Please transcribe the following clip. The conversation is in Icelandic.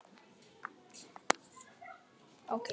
Það er of seint, svo skortir þig gáfur til þess.